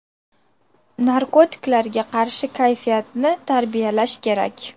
Narkotiklarga qarshi kayfiyatni tarbiyalash kerak.